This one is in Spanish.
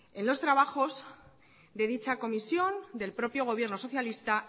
en los trabajos de dicha comisión del propio gobierno socialista